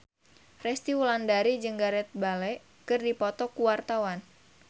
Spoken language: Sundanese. Resty Wulandari jeung Gareth Bale keur dipoto ku wartawan